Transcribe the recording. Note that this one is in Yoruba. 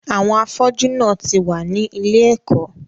àwọn “ afọ́jú " náà ti wà ní ilé-ẹ̀kó.